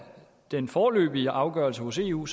den foreløbige afgørelse hos eu